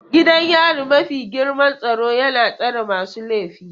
Gidan yari mafi girman tsaro yana tsare masu laifi.